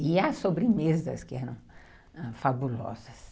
E há sobremesas que eram ãh... fabulosas.